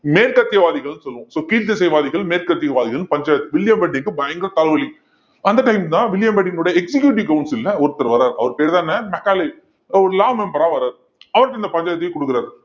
மேற்கத்தியவாதிகள்ன்னு சொல்லுவோம் so கீழ்த்திசைவாதிகள் மேற்கத்தியவாதிகள்ன்னு பஞ்சாயத்து வில்லியம் பெண்டிங்க்கு பயங்கர தலவலி அந்த time தான் வில்லியம் பெண்டிங் உடைய executive council ல ஒருத்தர் வர்றாரு அவர் பேர்தான் என்ன மெக்காலே ஒரு law member ஆ வர்றாரு அவர்கிட்ட இந்த பஞ்சாயத்தை தூக்கி குடுக்கறாரு